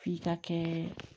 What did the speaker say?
F'i ka kɛ